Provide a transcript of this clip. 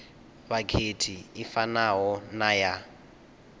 vhakhethi i fanaho na ya